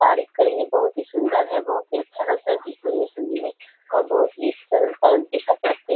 तारीफ करेंगे बहुत ही सुंदर है बहुत ही अच्छा लगता है देखने में शर्मीली और बहुत ही सरलता दिखाई पड़ते है।